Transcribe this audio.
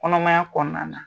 Kɔnɔmaya kɔnɔna na.